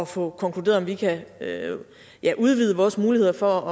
få konkluderet om vi kan ja udvide vores muligheder for